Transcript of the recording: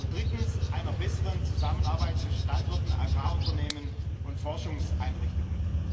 Drittens Einer besseren Zusammenarbeit zwischen Landwirten, Agrarunternehmen und Forschungseinrichtungen.